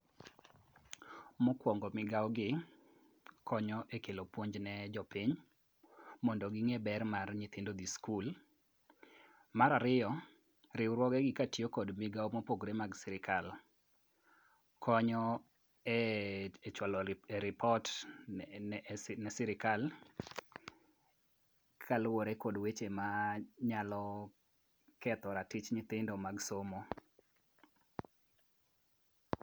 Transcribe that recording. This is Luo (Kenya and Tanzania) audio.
Mokwongo migawogi konyo e kelo puonj ne jopiny mondo ging'e ber mar nyithindo dhi skul. Mar ariyo, riwruogegi katiyo kod migawo mopogore mag sirikal konyo e chwalo ripot ne sirikal kaluwore kod weche manyalo ketho ratich nyithindo mag somo.